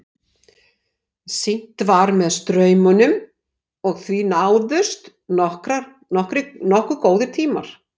Synt var með straumnum og því náðust nokkuð góðir tímar.